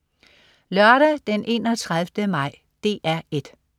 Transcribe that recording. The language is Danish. Lørdag den 31. maj - DR 1: